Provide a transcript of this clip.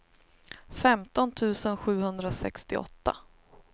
femton tusen sjuhundrasextioåtta